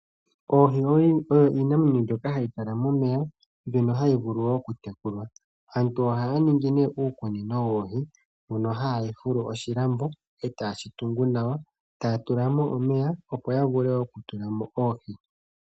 Oohi oyo iinamwenyo mbyoka hayi kala momeya mbyono hayi vulu okutekulwa. Aantu ohaya ningi uukunino woohi mono haya fulu oshilambo eteye shitungu nawa etaya tulamo omeya opo ya vule okutulamo oohi.